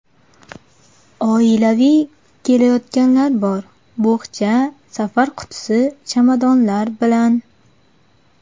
Oilaviy kelayotganlar bor bo‘xcha, safar qutisi, chamadonlar bilan.